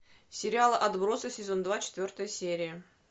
сериал отбросы сезон два четвертая серия